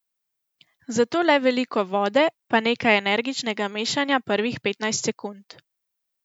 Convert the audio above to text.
Zato le veliko vode, pa nekaj energičnega mešanja prvih petnajst sekund.